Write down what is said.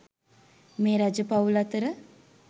මේ රජ පවුල් අතර